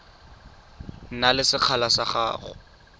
na le sekgala sa go